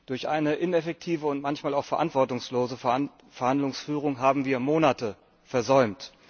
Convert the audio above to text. Durch eine ineffektive und manchmal auch verantwortungslose Verhandlungsführung haben wir Monate versäumt.